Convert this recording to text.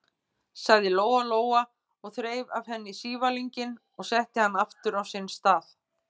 sagði Lóa-Lóa og þreif af henni sívalninginn og setti hann aftur á sinn stað.